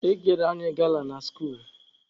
E kere anyị gala na skuulu.